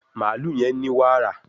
Mààlúù yén ní wààra